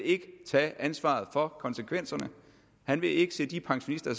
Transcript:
tage ansvaret for konsekvenserne han vil ikke se de pensionister